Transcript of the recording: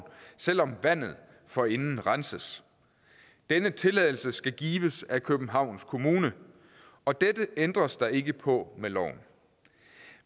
selv om vandet forinden renses denne tilladelse skal gives af københavns kommune og dette ændres der ikke på med loven